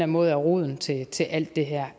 måde er roden til til alt det her